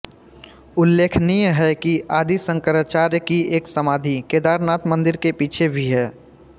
उल्लेखनीय है कि आदि शंकराचार्य की एक समाधि केदारनाथ मंदिर के पीछे भी है